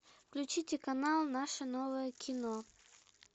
включите канал наше новое кино